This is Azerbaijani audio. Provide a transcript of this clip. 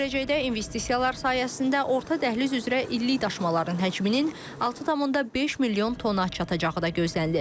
Gələcəkdə investisiyalar sayəsində orta dəhliz üzrə illik daşımaların həcminin 6,5 milyon tona çatacağı da gözlənilir.